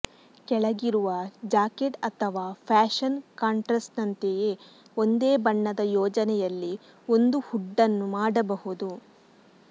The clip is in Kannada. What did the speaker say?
ಕೆಳಗಿರುವ ಜಾಕೆಟ್ ಅಥವಾ ಫ್ಯಾಶನ್ ಕಾಂಟ್ರಾಸ್ಟ್ನಂತೆಯೇ ಒಂದೇ ಬಣ್ಣದ ಯೋಜನೆಯಲ್ಲಿ ಒಂದು ಹುಡ್ ಅನ್ನು ಮಾಡಬಹುದು